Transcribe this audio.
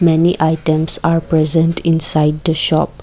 many items are present inside the shop.